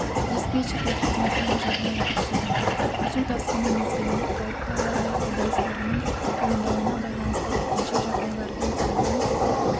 диспетчерлік қызметінің жағдайы тексерілді су тасқыны мезгілінде қауіпті ауа-райы құбылыстардың туындауына байланысты төтенше жағдайлардың алдын